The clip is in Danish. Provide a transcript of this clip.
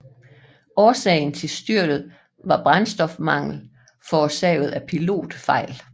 Årsagen til styrtet var brændstofmangel forårsaget af pilotfejl